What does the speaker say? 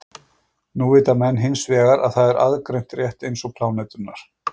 nú vita menn hins vegar að það er aðgreint rétt eins og pláneturnar